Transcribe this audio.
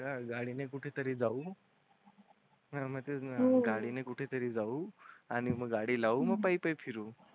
हा गाडीने कुठेतरी जाऊ हां, मग तेच ना म गाडी ने कुठे तरी जाऊ आणि मग गाडी लावू मग पायी पायी फिरू.